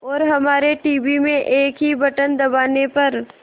और हमारे टीवी में एक ही बटन दबाने पर